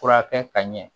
Furakɛ ka ɲɛ